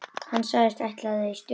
Hann sagðist ætla í sturtu.